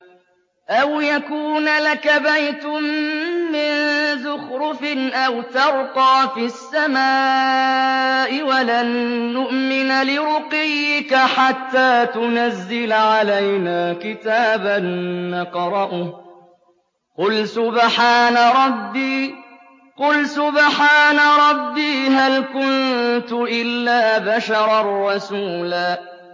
أَوْ يَكُونَ لَكَ بَيْتٌ مِّن زُخْرُفٍ أَوْ تَرْقَىٰ فِي السَّمَاءِ وَلَن نُّؤْمِنَ لِرُقِيِّكَ حَتَّىٰ تُنَزِّلَ عَلَيْنَا كِتَابًا نَّقْرَؤُهُ ۗ قُلْ سُبْحَانَ رَبِّي هَلْ كُنتُ إِلَّا بَشَرًا رَّسُولًا